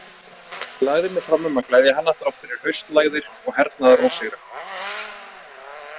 Ég lagði mig fram um að gleðja hana þrátt fyrir haustlægðir og hernaðarósigra.